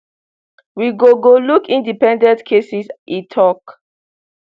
we go go look independent cases e tok